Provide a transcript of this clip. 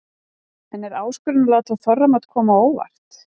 En er áskorun að láta þorramat koma á óvart?